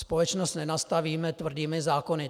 Společnost nenastavíme tvrdými zákony.